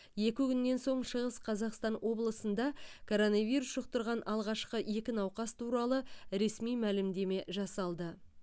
екі күннен соң шығыс қазақстан облысында коронавирус жұқтырған алғашқы екі науқас туралы ресми мәлімдеме жасалды